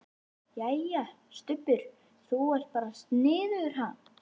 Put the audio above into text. Jæja, Stubbur. þú ert bara sniðugur, ha!